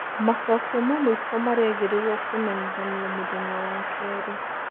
Macokio ma mũico marerĩgĩrĩrio kũmenyithanio mũthenya wa keri.